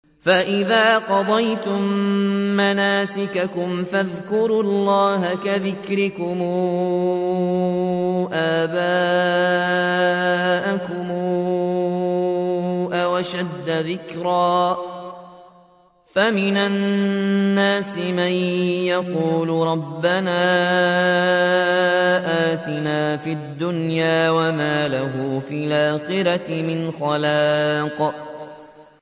فَإِذَا قَضَيْتُم مَّنَاسِكَكُمْ فَاذْكُرُوا اللَّهَ كَذِكْرِكُمْ آبَاءَكُمْ أَوْ أَشَدَّ ذِكْرًا ۗ فَمِنَ النَّاسِ مَن يَقُولُ رَبَّنَا آتِنَا فِي الدُّنْيَا وَمَا لَهُ فِي الْآخِرَةِ مِنْ خَلَاقٍ